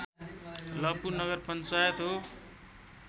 लपु नगर पञ्चायत हो